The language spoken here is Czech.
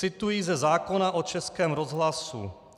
Cituji ze zákona o Českém rozhlasu.